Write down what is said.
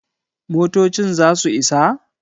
motocin za su Isa?